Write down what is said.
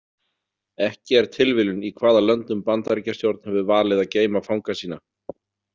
Ekki er tilviljun í hvaða löndum Bandaríkjastjórn hefur valið að geyma fanga sína.